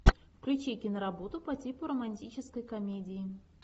включи киноработу по типу романтической комедии